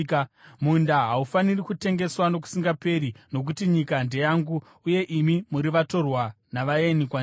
“ ‘Munda haufaniri kutengeswa nokusingaperi, nokuti nyika ndeyangu uye imi muri vatorwa navaeni kwandiri.